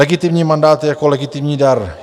Legitimní mandát je jako legitimní dar.